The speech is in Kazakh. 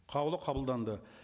қаулы қабылданды